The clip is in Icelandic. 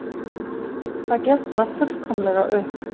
Það gekk bara fullkomlega upp